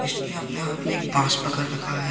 इसने अपने हाथ में एक बांस पकड़ रखा है।